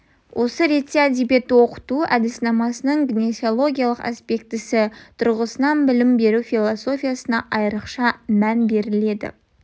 осы ретте әдебиетті оқыту әдіснамасының гнеосиологиялық аспектісі тұрғысынан білім беру философиясына айрықша мән беріледі